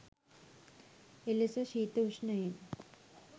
එලෙස ශීත, උෂ්ණයෙන්